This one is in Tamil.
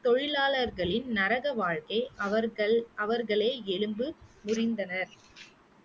தொழிலாளர்களின் நரக வாழ்க்கை அவர்கள் அவர்களே எலும்பு முறிந்தனர்